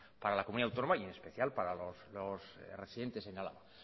para la comunidad autónoma y en especial para los residentes en álava